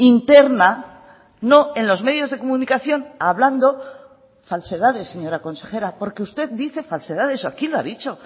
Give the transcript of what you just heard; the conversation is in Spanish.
interna no en los medios de comunicación hablando falsedades señora consejera porque usted dice falsedades aquí lo ha dicho